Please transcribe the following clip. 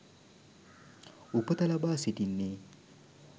උපත ලබා සිටින්නේ